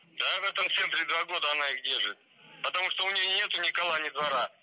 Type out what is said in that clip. да в этом центре два года она их держит потому что у нее нету ни кола ни двора